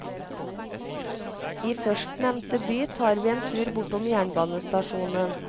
I førstnevnte by tar vi en tur bortom jernbanestasjonen.